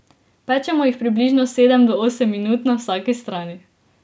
Pečemo jih približno sedem do osem minut na vsaki strani.